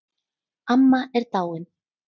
Amma er dáin